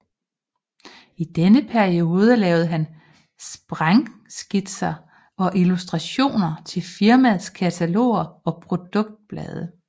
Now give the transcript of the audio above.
I denne periode lavede han sprængskitser og illustrationer til firmaets kataloger og produktblade